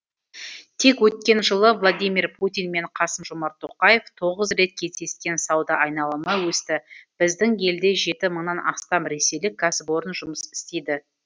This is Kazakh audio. тек өткен жылы владимир путин мен қасым жомарт тоқаев тоғыз рет кездескен сауда айналымы өсті біздің елде жеті мыңнан астам ресейлік кәсіпорын жұмыс істейді